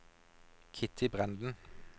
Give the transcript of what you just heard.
Kitty Brenden